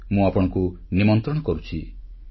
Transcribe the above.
ଏଥିପାଇଁ ମୁଁ ଆପଣଙ୍କୁ ନିମନ୍ତ୍ରଣ କରୁଛି